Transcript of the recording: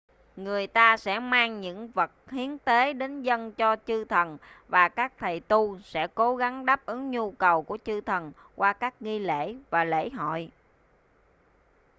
người ta sẽ mang những vật hiến tế đến dâng cho chư thần và các thầy tu sẽ cố gắng đáp ứng nhu cầu của chư thần qua các nghi lễ và lễ hội